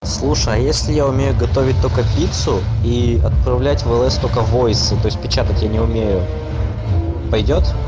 слушай а если я умею готовить только пиццу и отправлять в лс только войсы то есть печатать я не умею пойдёт